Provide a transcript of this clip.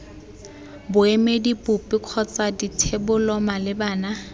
boemedi bope kgotsa dithebolo malebana